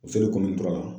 kɔnɔntɔnna